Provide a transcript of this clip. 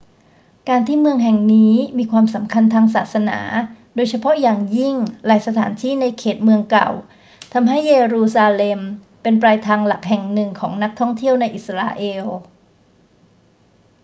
การที่เมืองแห่งนี้มีความสำคัญทางศาสนา โดยเฉพาะอย่างยิ่งหลายสถานที่ในเขตเมืองเก่า ทำให้เยรูซาเล็มเป็นปลายทางหลักแห่งหนึ่งของนักท่องเที่ยวในอิสราเอล